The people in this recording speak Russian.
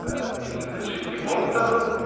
список из шести пунктов